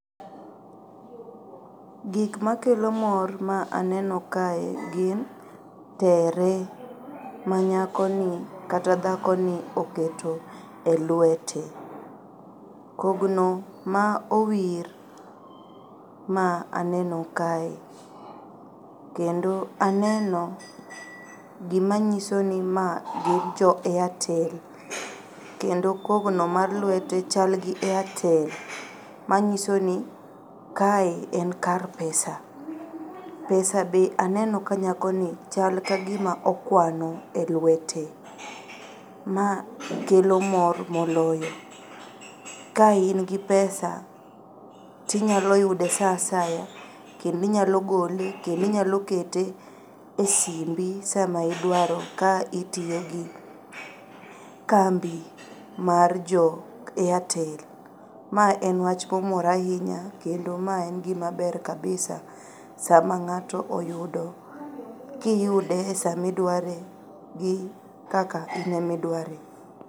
Gikmakelo mor ma aneno kae gin tere manyakoni kata dhakoni oketo e luete. Kogno ma owir ma aneno kae kendo aneno gimanyisoni magi jo airtel kendo kogno mar luete chalgi airtel manyisoni kae en kar pesa. Pesa be aneno nyakoni chal ka gima okwano e luete. Ma kelo mor moloyo. Ka ingi pesa tinyayude saa asaya kendo inyalo gole kendo inyalo kete e simbi sama idwaro ka itiyogi kambi mar jo airtel. Ma en wach momora ainya kendo ma en gima ber kabisa sama ng'ato oyudo, kiyude e samidware gi kaka ine midware.